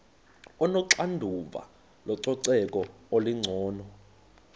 onoxanduva lococeko olungcono